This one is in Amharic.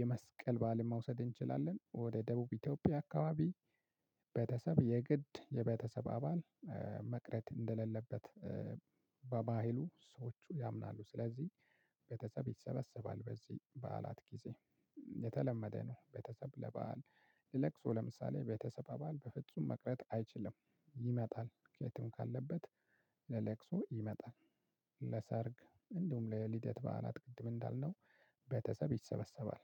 የመስቀል በዓልን መውሰድ እንችላለን። ወደ ደቡብ ኢትዮጵያ አካባቢ ቤተሰብ የግድ የቤተሰብ አባል መቅረት እንደሌለበት በባህሉ ሰዎቹ ያምናሉ። ስለዚህ ቤተሰብ ይሰበሰባል በዚህ በዓላት ጊዜ የተለመደ ነው። ቤተሰብ ለበአል ለለቅሶ ለምሳሌ ቤተሰብ አባል በፍጹም መቅረት አይችልም ይመጣል ከየትም ካለበት ለለቅሶ ይመጣል። ለሰርግ እንዲሁም ለልደት በዓላት ቅድም እንዳልነው ቤተሰብ ይሰበሰባል።